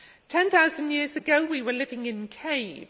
Ten thousand years ago we were living in caves.